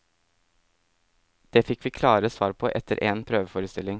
Det fikk vi klare svar på etter en prøveforestilling.